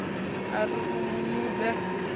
a ri u mu nuḓa